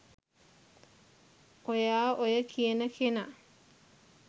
ඔයා ඔය කියන කෙනා